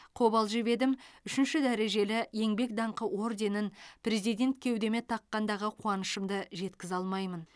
қобалжып едім үшінші дәрежелі еңбек даңқы орденін президент кеудеме таққандағы қуанышымды жеткізе алмаймын